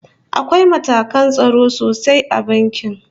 Akwai matakan tsaro sosai a banki